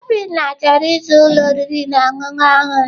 Obinna chọrọ ịzụ ụlọ oriri na ọṅụṅụ ọhụrụ.